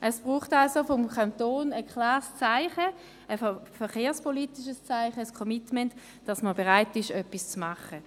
Es braucht also vom Kanton ein klares verkehrspolitisches Zeichen, ein Commitment, wonach er bereit ist, etwas zu tun.